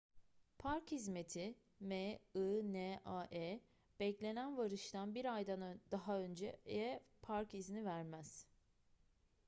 park hizmeti minae beklenen varıştan bir aydan daha önceye park izni vermez